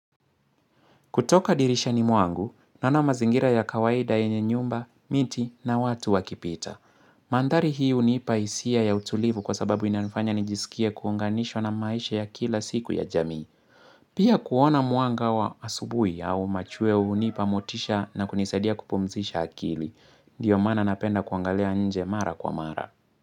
Kutoka dirisha ni mwangu, naona mazingira ya kawaida yenye nyumba, miti na watu wakipita. Mandhari hii unipaisia ya utulivu kwa sababu inanifanya nijisikie kuunganishwa na maisha ya kila siku ya jamii. Pia kuona mwanga wa asubui au machweo unipa motisha na kunisadia kupumzisha akili. Ndiyo maana napenda kuangalia nje mara kwa mara.